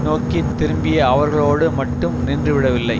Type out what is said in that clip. நோக்கி திரும்பிய அவர்களோடு மட்டும் நின்று விடவில்லை